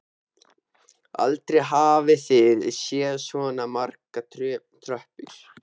Aldrei hafði Lilla séð svona margar tröppur.